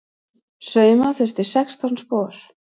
Sauma þurfti sextán spor.